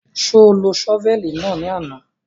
Ṣo lo ṣọ́fẹ̀lì náà ní àná?